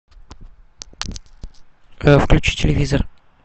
включи телевизор